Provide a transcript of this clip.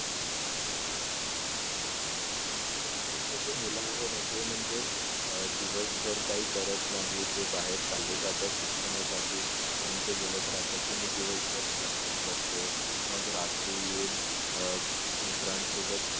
आताचे जे मूल आहे ना तर ते म्हणजे अह दिवसभर काही करत नाही ते बाहेर चालले जातात शिक्षणासाठी आणि ते बोलत राहतात की मी दिवसभर शिक्षण करतो मग रात्री येऊन अह मित्रांसोबत